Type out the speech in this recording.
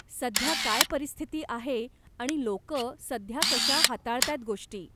सध्या काय परिस्थिती आहे आणि लोकं सध्या कशा हाताळताहेत गोष्टी?